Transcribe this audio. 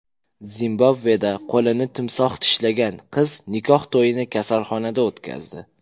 Zimbabveda qo‘lini timsoh tishlagan qiz nikoh to‘yini kasalxonada o‘tkazdi.